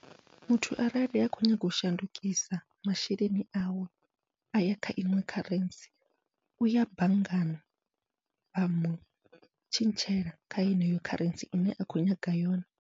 Muthu arali a kho nyaga u shandukisa masheleni awe, aya kha iṅwe kharentsi uya banngani vha mutshintshela kha yeneyo kharentsi ine a khou nyaga yone.